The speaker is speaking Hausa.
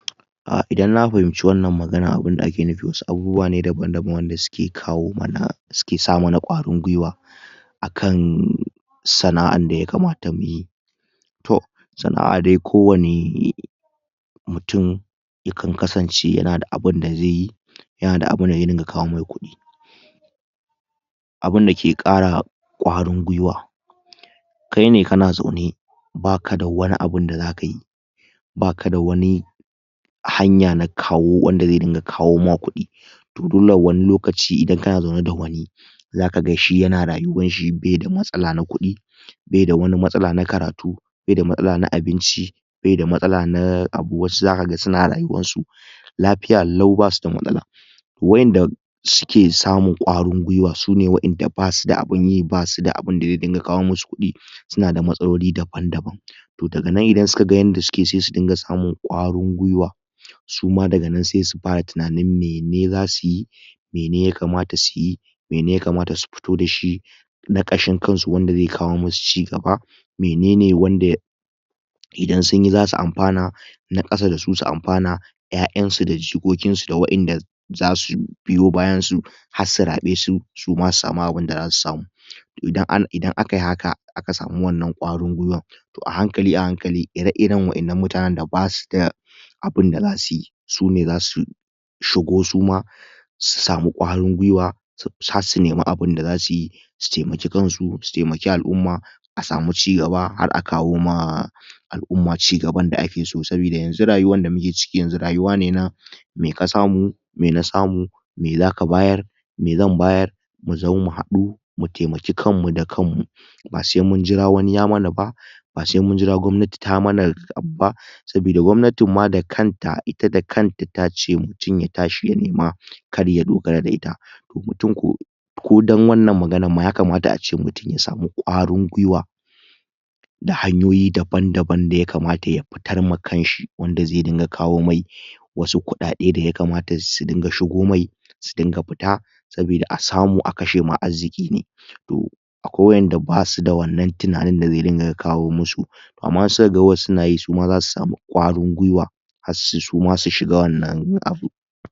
um idan na fahimci wannan magana abunda aka nufi wasu abubuwa ne daban daban wanda suke kawo mana suke sa mana ƙwarin gwiwa akan sana'an da ya kamata muyi toh sana'a dai kowani mutum ya kan kasance yana da abun da zai yi yana da abunda zai dinga kawo mai kudi abunda ke ƙara ƙwarin gwiwa, kai ne kana zaune ba kada wani abun da zakayi ba ka da wani hanya na kawo wanda zai dinga kawo ma kudi toh dole wani lokaci idan kana zaune da wani zaka ga shi yana rayuwanshi baida matsala na kudi baida wani matsala na karatu baida matsala na abinci baida matsala na abu wasu zaka ga suna rayuwansu lafiya lau basuda matsala wa'inda suke samun ƙwarin gwiwa sune wainda basuda abun yi basuda abun da zai dinga kawo musu kudi suna da matsaloli daban daban toh daga nan idan suka ga yanda sukeyi sai su dinga samun kwarin gwiwa suma daga nan sai su fara tunanin mene zasuyi mene ya kamata suyi mene ya kamatasu futo dashi na ƙashin kansu wanda zai kawo musu cigaba mene wanda idan sunyi zasu amfana na kasa da su su amfana ƴaƴansu da jikokinsu da wa'inda za su biyo bayansu har su raɓe su suma su samu abundazasu samu, toh idan akayi haka aka samu wannan ƙwarin gwiwan toh a hankali a hankali ire iren wa'innan mutanen da basuda abun da za abunda zasuyi sune zasu shugo suma su samu ƙwarin gwiwa har su nemi abun da za suyi su taimaki kansu su taimaki al'umma asamu cigaba har a kawo ma al'umma cigaban da ake so saboda yanzu rayuwan da ake ciki yanzu rayuwa ne na me ka samu me na samu me zaka bayar me zan bayar mu zo mu hadu mu taimaki kan mu da kanmu ba sai munjira wani yamana bah ba sai munjira gwamnati ta mana abu ba sabodan gwamnatin da kanta ita da kanta tace mutum ya tashi ya nema kar ya dogara da ita mutum ko ko dan wannan maganan mutum ya kamata ya samu ƙwarin gwiwa da hanyoyi daban daban da ya kamata ya fitar ma kanshi wanda zai dinga kawo mishi wasu kuɗaɗai da ya kamata su dinga shigo mishi su dinga fita aboda asamu a kashe ma arziki to akwai wa'inda basuda wannan tunaninda zai dinga kawo musu amma suka ga wasu nayi za su samu kwarin gwiwa har suma su shiga wannan abu.